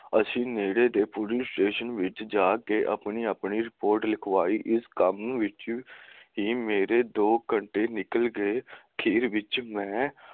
ਅਸੀਂ ਨੇੜੇ ਦੇ ਪੁਲਿਸ ਸਟੇਸ਼ਨ ਵਿੱਚ ਜਾ ਕੇ ਆਪਣੀ ਆਪਣੀ ਰਿਪੋਰਟ ਲਿਖਵਾਈ ਇਸ ਕੰਮ ਵਿੱਚ ਹੀ ਮੇਰੇ ਦੋ ਘੰਟੇ ਨਿਕਲ ਗਏ